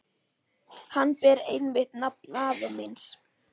Hann ber einmitt nafn afa míns.